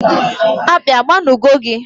Akpi agba nu go gi?